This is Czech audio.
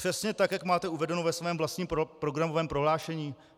Přesně tak, jak máte uvedeno ve svém vlastním programovém prohlášení?